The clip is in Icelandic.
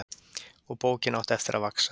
Og bókin átti eftir að vaxa.